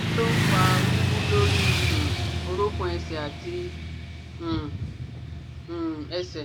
Kí ló ń fa wiwu lórí um orokun ẹsẹ̀ àti um um ẹsẹ̀?